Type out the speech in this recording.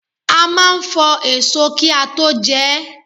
A máa ń fọ èso kí a tó jẹ ẹ́.